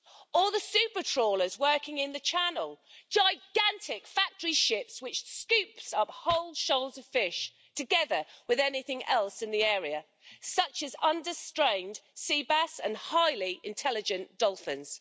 Or the super trawlers working in the Channel gigantic factory ships which scoop of whole shoals of fish together with anything else in the area, such as the under strain sea bass and highly intelligent dolphins.